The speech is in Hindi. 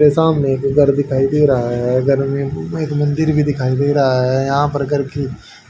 ये सामने एक घर दिखाई दे रहा है घर में एक मंदिर भी दिखाई दे रहा है यहां पर घर की